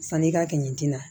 Sanni i ka kɛ nin tina